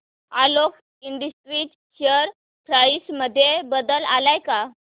Alok industries share price मध्ये बदल आलाय का